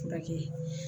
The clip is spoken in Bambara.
Furakɛ